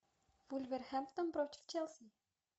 вулверхэмптон против челси